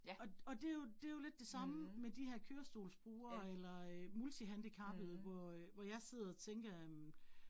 Og og det jo det jo lidt det samme med de her kørestolsbrugere eller øh multihandicappede, hvor øh hvor jeg sidder og tænker øh